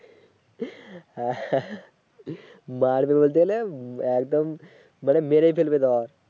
মারবে বলতে একদম মানে মেরেই ফেলবে তোমাকে